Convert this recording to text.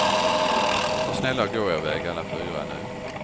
Var snälla och gå er väg alla fyra nu.